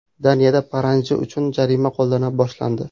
Daniyada paranji uchun jarima qo‘llana boshlandi.